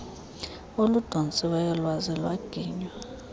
oludontsiweyo lwaze lwaginywa